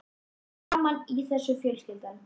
Við stöndum saman í þessu fjölskyldan.